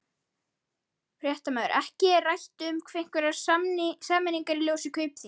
Fréttamaður: Ekki rætt um einhverjar sameiningar í ljósi Kaupþings?